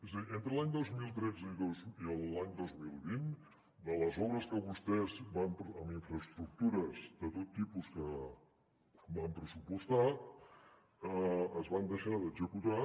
és a dir entre l’any dos mil tretze i l’any dos mil vint de les obres que vostès en infraestructures de tot tipus van pressupostar es van deixar d’executar